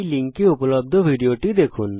এই url এ উপলব্ধ ভিডিওটি দেখুন